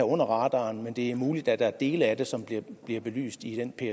under radaren men det er muligt at der er dele af det som bliver belyst i den